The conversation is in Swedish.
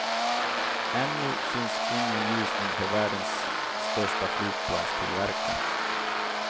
Ännu syns ingen ljusning för världens största flygplanstillverkare.